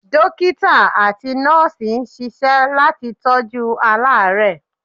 Dókítà àti Nọ́ọ̀sì ń ṣisẹ́ láti tọ́jú aláàrẹ́ẹ̀.